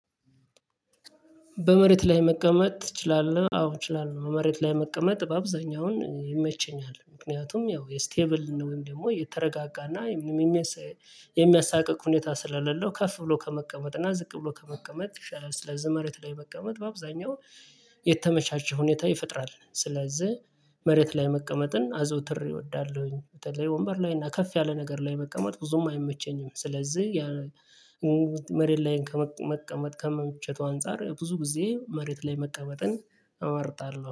በመሬት ላይ መቀመጥ ትችላለህ? አዎ እችላለሁ መሬት ላይ መቀመጥ በአብዛኛው አሁን ይመቸኛል። ምክንያቱም ያው የስቴብል ወይም ደግሞ የተረጋጋና የሚያሳቅቅ ሁኔታ ስላሌለው ከፍ ብሎ ከመቀመጥና ዝቅ ብሎ ከመቀመጥ ይሻላል። ስለዚህ መሬት ላይ መቀመጥ በአብዛኛው የተመቻቸ ሁኔታ ይፈጥራል። ስለዚህ መሬት ላይ መቀመጥን አዘውትር እወዳለሁኝ። በተለይ ወንበር ላይ እና ከፍ ያለ ነገር ላይ መቀመጥ ብዙም አይመቸኝም። ስለዚህ መሬት ላይ ከመቀመጥ ከምቾቱ አንፃር ብዙ ጊዜ መሬት ላይ መቀመጥን እመርጣለሁ